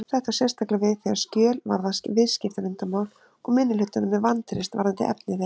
Þetta á sérstaklega við þegar skjöl varða viðskiptaleyndarmál og minnihlutanum er vantreyst varðandi efni þeirra.